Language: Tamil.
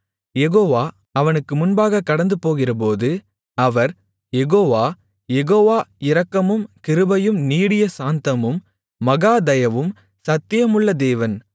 யெகோவா அவனுக்கு முன்பாக கடந்துபோகிறபோது அவர் யெகோவா யெகோவா இரக்கமும் கிருபையும் நீடிய சாந்தமும் மகா தயவும் சத்தியமுள்ள தேவன்